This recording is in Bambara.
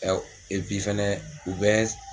fana u bɛ.